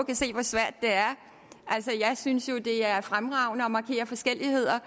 kan se hvor svært det er altså jeg synes jo at det er fremragende at markere forskelligheder